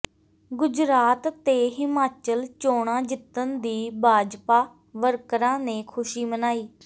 ਗੁਜਰਾਤ ਤੇ ਹਿਮਾਚਲ ਚੋਣਾਂ ਜਿੱਤਣ ਦੀ ਭਾਜਪਾ ਵਰਕਰਾਂ ਨੇ ਖ਼ੁਸ਼ੀ ਮਨਾਈ